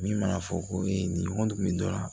Min mana fɔ ko ee nin ɲɔgɔn kun bɛ dɔ la